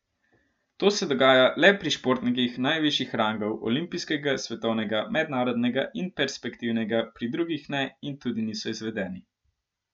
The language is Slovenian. To se dogaja le pri športnikih najvišjih rangov, olimpijskega, svetovnega, mednarodnega in perspektivnega, pri drugih ne in tudi niso izvedeni.